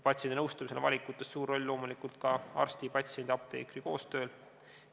Patsiendi nõustamisel on valikutes suur roll loomulikult arsti, patsiendi ja apteekri koostööl.